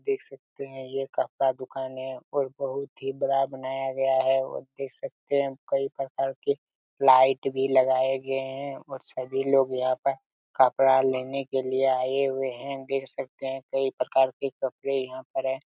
देख सकते है यह कपड़ा दुकान है और बहुत ही बड़ा बनाया गया है और देख सकते है कई प्रकार के लाइट भी लगाए गए है और सभी लोग यहाँ पे कपड़ा लेने के लिए आए हुए है देख सकते है कई प्रकार के कपड़े यहाँ पर है।